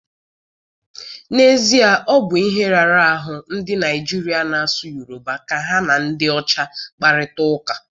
N'ezie, ọ bu ihe rara ahụ ndị Naijiria na-asụ Yoruba ka ha na ndị ọcha kparịta ụka.